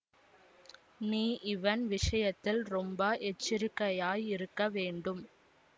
நீ இவன் விஷயத்தில் ரொம்ப எச்சரிக்கையாயிருக்க வேண்டும்